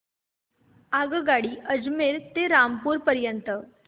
आगगाडी अजमेर ते रामपूर पर्यंत